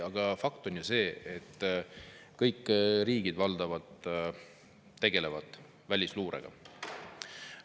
Aga fakt on ju see, et kõik riigid valdavalt tegelevad välisluurega.